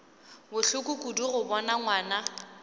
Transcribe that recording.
bohloko kudu go bona ngwana